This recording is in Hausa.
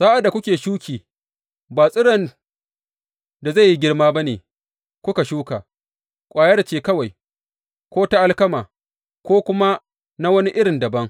Sa’ad da kuke shuki, ba tsiron da zai yi girma ba ne kuka shuka, ƙwayar ce kawai, ko ta alkama ko kuma na wani irin dabam.